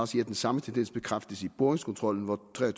sige at den samme tendens bekræftes i boringskontrollen hvor tre og